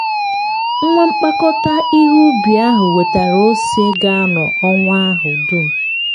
nwa mkpakọta ihe ubi ahụ wetara ose ga-anọ ọnwa ahụ dum.